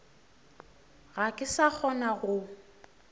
ga ke sa kgona go